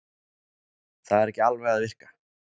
Það er ekki alveg að virka